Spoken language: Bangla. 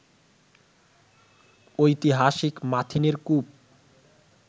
ঐতিহাসিক মাথিনের কূপ